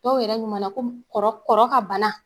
Dɔw yɛrɛ ɲuman na ko kɔrɔ kɔrɔ ka bana.